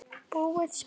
búið spil.